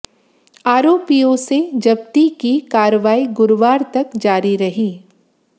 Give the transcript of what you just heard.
आरोपियों से जब्ती की कार्रवाई गुरुवार तक जारी रही